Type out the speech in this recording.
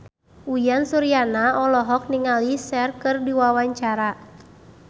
Uyan Suryana olohok ningali Cher keur diwawancara